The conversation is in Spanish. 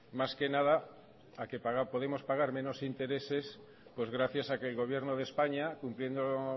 más que nada a que podemos pagar menos intereses pues gracias a que el gobierno de españa cumpliendo